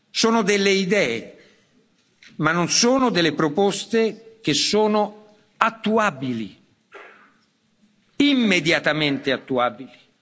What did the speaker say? Sono delle idee, ma non sono delle proposte che sono attuabili, immediatamente attuabili.